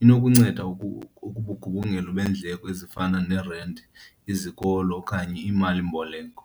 inokunceda ubugubungelo beendleko ezifana nerenti, izikolo okanye imalimboleko.